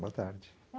Boa tarde.